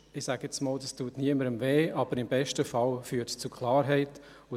Ich sage jetzt mal, dass dies niemandem weh tut, aber im besten Fall zu Klarheit führt.